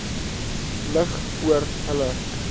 lig oor hulle